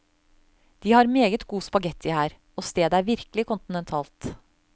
De har meget god spaghetti her, og stedet er virkelig kontinentalt.